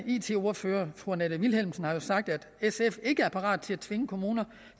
it ordfører fru annette vilhelmsen jo sagt at sf ikke er parat til at tvinge kommuner